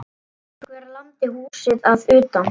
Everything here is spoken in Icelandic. Einhver lamdi húsið að utan.